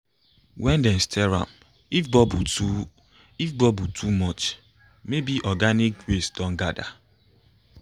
when dem stir am if bubbles too if bubbles too much maybe organic waste don gather